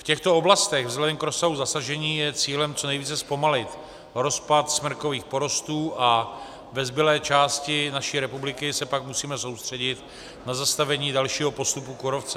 V těchto oblastech vzhledem k rozsahu zasažení je cílem co nejvíce zpomalit rozpad smrkových porostů a ve zbylé části naší republiky se pak musíme soustředit na zastavení dalšího postupu kůrovce.